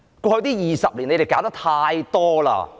過去20年，他們搞得太多了。